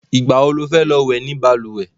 Ìgbà wo lo fẹ́ lọ wẹ̀ ni balùwẹ̀?